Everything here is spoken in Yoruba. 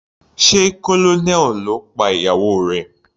Sé Colonel ló pa ìyàwó rẹ̀.